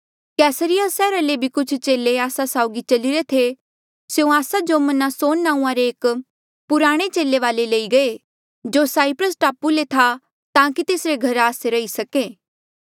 कैसरिया सैहरा ले भी कुछ चेले आस्सा साउगी चल्लीरे थे स्यों आस्सा जो मनासोन नांऊँआं रे एक पुराणे चेले वाले लई गये जो साईप्रस टापू ले था ताकि तेसरे घरा आस्से रही सके